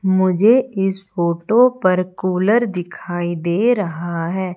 मुझे इस फोटो पर कूलर दिखाई दे रहा है।